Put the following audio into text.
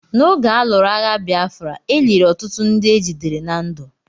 N'oge a lụrụ agha Bịafra, e liri ọtụtụ ndị ejidere na ndụ.